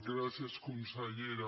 gràcies consellera